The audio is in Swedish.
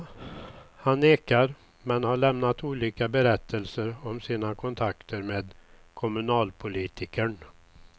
Han nekar, men har lämnat olika berättelser om sina kontakter med kommunalpolitikern.